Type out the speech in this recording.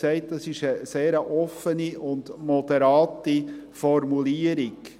Es ist eine sehr offene und moderate Formulierung.